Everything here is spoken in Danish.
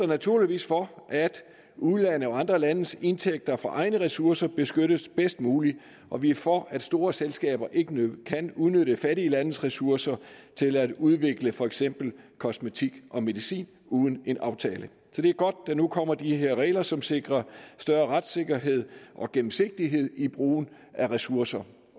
naturligvis for at ulandes og andre landes indtægter fra egne ressourcer beskyttes bedst muligt og vi er for at store selskaber ikke kan udnytte fattige landes ressourcer til at udvikle for eksempel kosmetik og medicin uden en aftale så det er godt at der nu kommer de her regler som sikrer større retssikkerhed og gennemsigtighed i brugen af ressourcer